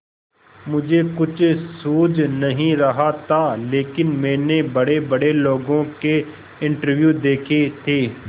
मुझे कुछ सूझ नहीं रहा था लेकिन मैंने बड़ेबड़े लोगों के इंटरव्यू देखे थे